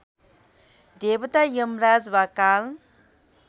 देवता यमराज वा काल